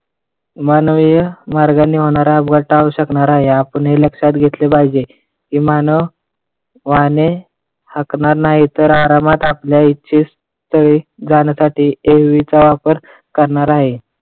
मानवी मार्गाने होनारा अपघात टाळू शकणार आहे आपण हे लक्षात घेतले पाहिजे, की मानव वाहने हाकणार नाही आरामात आपल्या इच्छे स्थळी जाण्यासाठी AV चा वापर करणार आहे.